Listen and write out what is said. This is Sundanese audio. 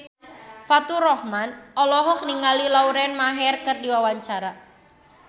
Faturrahman olohok ningali Lauren Maher keur diwawancara